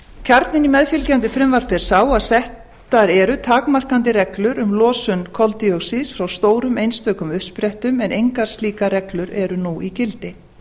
kjarninn í meðfylgjandi frumvarpi er sá að settar eru takmarkandi reglur um losun koltvíoxíðs frá stórum einstökum uppsprettum en engar slíkar reglur eru nú í gildi